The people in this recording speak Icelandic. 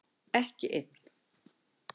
Ekki einn